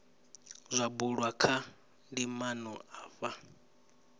zwa bulwa kha ndimana afha